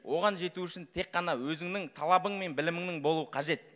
оған жету үшін тек қана өзіңнің талабың мен білімінің болу қажет